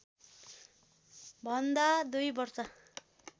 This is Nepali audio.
भन्दा दुई वर्ष